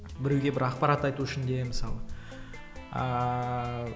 біреуге бір ақпарат айту үшін де мысалы ааа